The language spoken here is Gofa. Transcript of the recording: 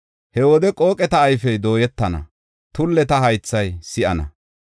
He wode, qooqeta ayfey dooyetana; tulleta haythay si7ana.